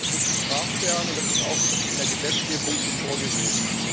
Das muss bestraft werden, und das ist auch in der Gesetzgebung so vorgesehen.